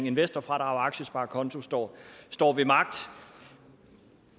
investorfradrag og aktiesparekonto står står ved magt